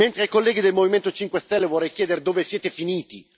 Mentre ai colleghi del Movimento 5 Stelle vorrei chiedere dove siete finiti?